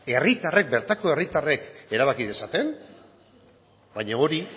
herritarrek bertako herritarrek erabaki dezaten baina hori